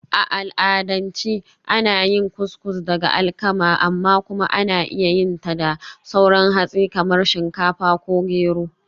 A al'adance ana yin Couscous daga alkama, amma kuma ana iya yin ta da sauran hatsi kamar shinkafa ko gero.